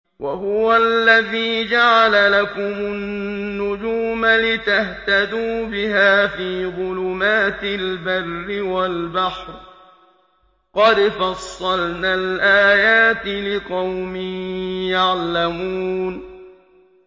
وَهُوَ الَّذِي جَعَلَ لَكُمُ النُّجُومَ لِتَهْتَدُوا بِهَا فِي ظُلُمَاتِ الْبَرِّ وَالْبَحْرِ ۗ قَدْ فَصَّلْنَا الْآيَاتِ لِقَوْمٍ يَعْلَمُونَ